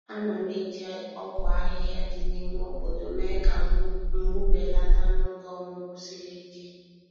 A na'm eji ogwu ahịhịa dị n'ime obodo mee ka mgbu belata n'oge ọmụmụ siri ike.